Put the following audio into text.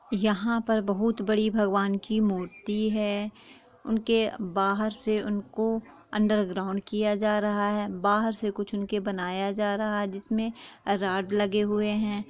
यहां पर बहुत बड़ी भगवान की उनकी मूर्ति है। उनके बाहर से उनको अन्डरग्राउन्ड किया जा रहा है। बाहर से कुछ उनके बनाया जा रहा है जिसमें राड लगे हुए हैं।